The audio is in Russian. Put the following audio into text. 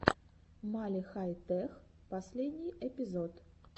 мали хай тех последний эпизод